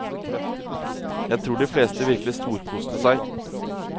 Jeg tror de fleste virkelig storkoste seg.